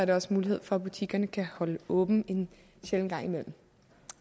der også mulighed for at butikkerne kan holde åbent en sjælden gang imellem